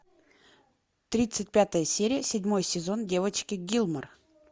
тридцать пятая серия седьмой сезон девочки гилмор